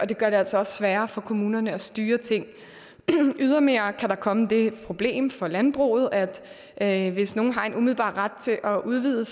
det gør det altså også sværere for kommunerne at styre ting ydermere kan der komme det problem for landbruget at at hvis nogen har en umiddelbar ret til at udvide